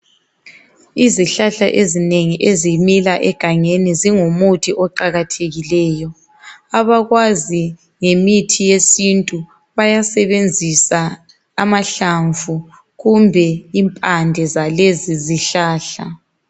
Izihlahla ezinengi ezimila egangeni zingumuthi oqakathekileyi, abakwazi ngemithi yesintu bayasebenzisa amahlamvu kumbe impande zalezi zihlahla.